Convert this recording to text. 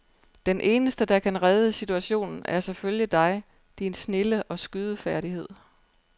Den eneste, der kan redde situationen, er selvfølgelig dig, din snilde og skydefærdighed.